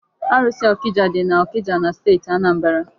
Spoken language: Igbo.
Arụsị ọkịja dị n'Ọkịja na steeti Anambra.